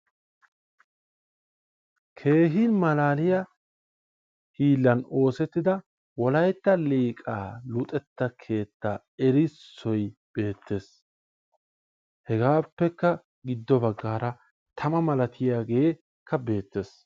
keehin malaaliyaa hiillan osettida wolayitta liqa luxetta keetta erissoy beettes hegaappekka giddo bagaara tama malatiyaagee beettes.